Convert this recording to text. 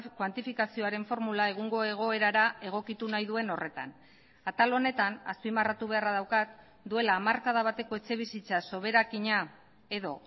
kuantifikazioaren formula egungo egoerara egokitu nahi duen horretan atal honetan azpimarratu beharra daukat duela hamarkada bateko etxebizitza soberakina edo